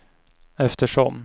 eftersom